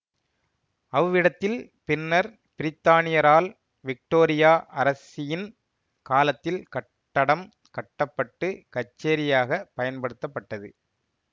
அவ்விடத்தில் பின்னர் பிரித்தானியரால் விக்டோரியா அரசியின் காலத்தில் கட்டடம் கட்ட பட்டு கச்சேரியாகப் பயன்படுத்தப்பட்டது